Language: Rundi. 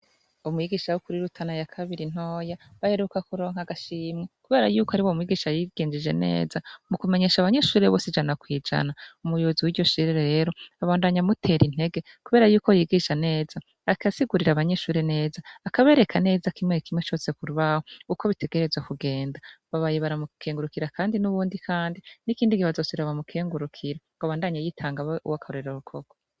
Umwigisha wo kurirutana ya kabiri ntoya bayeruka kuronka agashimwa, kubera yuko ari bo mwigisha yiginjije neza mu kumenyesha abanyeshure bos ijana kwijana umuyobozi w'iryo shirere rero abandanya amutera intege, kubera yuko yigisha neza akasigurira abanyeshure neza akabereka neza kimwe kimwe cose kurbaho uko bitegereze kugenda babaye baramukengurukira, kandi n'ubundi, kandi n'ikindi gie azose ira bamukengurukira ngo abandanye yitanga be uwo akarorero rukoko.